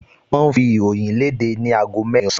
Wọ́n ń fi ìròyìn léde ni aago mẹ́rin ọ̀sán